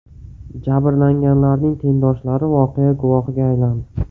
Jabrlanganlarning tengdoshlari voqea guvohiga aylandi.